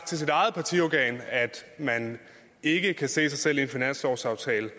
til sit eget partiorgan at man ikke kan se sig selv i en finanslovsaftale